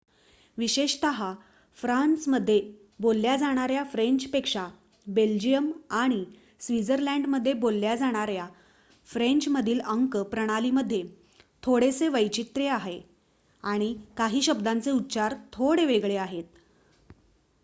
विशेषतः फ्रान्समध्ये बोलल्या जाणाऱ्या फ्रेंचपेक्षा बेल्जिअम आणि स्वित्झर्लंडमध्ये बोलल्या जाणाऱ्या फ्रेंचमधील अंक प्रणालीमध्ये थोडेसे वैचित्र्य आहे आणि काही शब्दांचे उच्चार थोडे वेगळे आहेत